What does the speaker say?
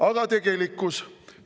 Aga tegelikkus?